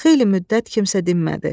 Xeyli müddət kimsə dinmədi.